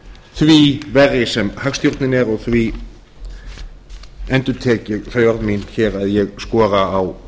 því verri sem hagstjórnin er og því endurtek ég þau orð mín að ég skora á